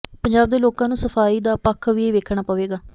ਪੰਜਾਬ ਦੇ ਲੋਕਾਂ ਨੂੰ ਸਫ਼ਾਈ ਦਾ ਪੱਖ ਵੀ ਵੇਖਣਾ ਪਵੇਗਾ